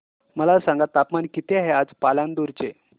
मला सांगा तापमान किती आहे आज पालांदूर चे